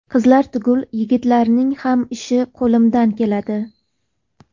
Qizlar tugul yigitlarning ham ishi qo‘limdan keladi.